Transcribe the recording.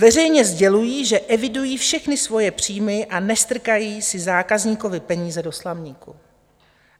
Veřejně sdělují, že evidují všechny svoje příjmy a nestrkají si zákazníkovy peníze do slamníku.